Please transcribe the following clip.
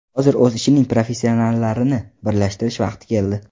Hozir o‘z ishining professionallarini birlashtirish vaqti keldi.